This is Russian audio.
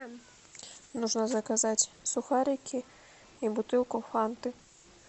нужно заказать сухарики и бутылку фанты